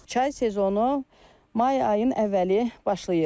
Çay mövsümü may ayının əvvəli başlayır.